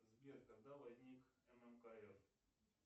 сбер когда возник ммкф